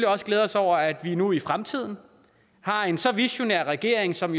også glæde os over at vi nu i fremtiden har en så visionær regering som